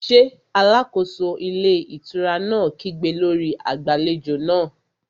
Ṣé alákóso ilé ìtura náà kígbe lórí agbàlejò náà?